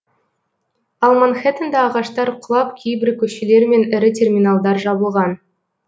ал манхэттенда ағаштар құлап кейбір көшелер мен ірі терминалдар жабылған